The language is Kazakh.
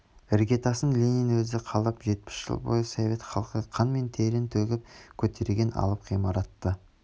іргетасын ленин өзі қалап жетпіс жыл бойы совет халқы қан мен терін төгіп көтерген алып ғимаратты